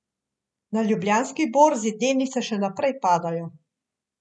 Na Ljubljanski borzi delnice še naprej padajo.